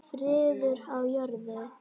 Friður á jörðu.